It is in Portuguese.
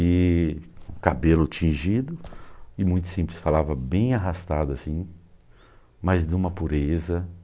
E cabelo tingido e muito simples, falava bem arrastado assim, mas de uma pureza